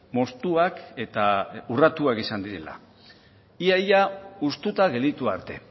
moztuak eta urratuak izan direla ia ia hustuta gelditu arte